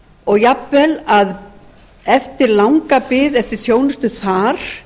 og jafnvel að eftir langa bið eftir þjónustu þar